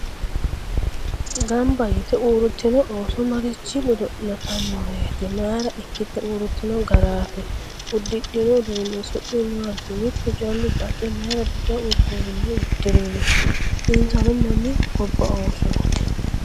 ganba yitte uuritinno ooso maricho godo'litannoreeti? mayiira ikkite uuritinno garaati? udidhinno uduunni su'mi maati? mittu callu baxxe mayiira bica uduunne udirinno? insano Mami gobba oosoti?